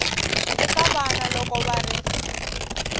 eka vana loko va ri